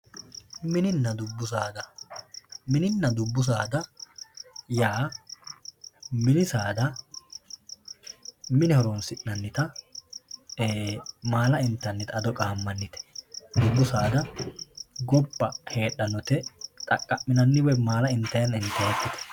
mininna dubbu saada mininna dubbu saada yaa mini saada mine horonsi'nannita maala intanite ado qaamannite dubbu saada gobba heedhanote dhaqqa'minanni woye maala intaayinna intaayiikiti no.